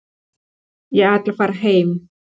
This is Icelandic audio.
Ég ætla að fara heim.